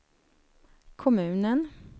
kommunen